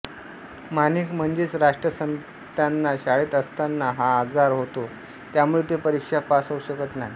माणिक म्हणजेच राष्ट्रसंतत्यांना शाळेत असताना हा आजार होतो त्यामुळे ते परीक्षा पास होऊ शकत नाही